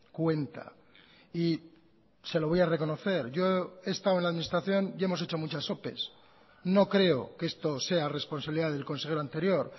cuenta y se lo voy a reconocer yo he estado en la administración y hemos hecho muchas ope no creo que esto sea responsabilidad del consejero anterior